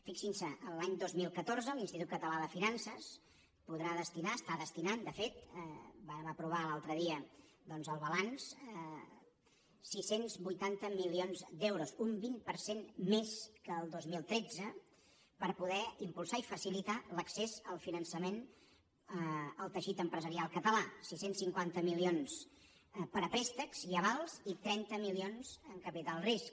fixin se l’any dos mil catorze l’institut català de finances podrà destinar hi està destinant de fet en vàrem aprovar l’altre dia doncs el balanç sis cents i vuitanta milions d’euros un vint per cent més que el dos mil tretze a poder impulsar i facilitar l’accés al finançament al teixit empresarial català sis cents i cinquanta milions per a préstecs i avals i trenta milions en capital de risc